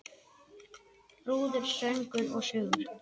Brúður, söngur og sögur.